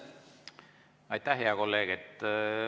Aitäh, hea kolleeg!